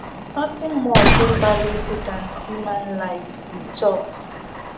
nothing more dey valuable dan human life e tok